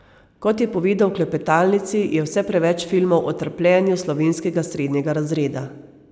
Kot je povedal v klepetalnici, je vse preveč filmov o trpljenju slovenskega srednjega razreda.